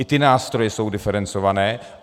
I ty nástroje jsou diferencované.